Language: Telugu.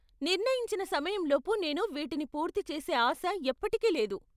నిర్ణయించిన సమయం లోపు నేను వీటిని పూర్తి చేసే ఆశ ఎప్పటికీ లేదు.